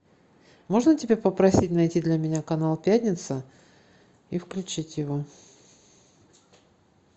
можно тебя попросить найти для меня канал пятница и включить его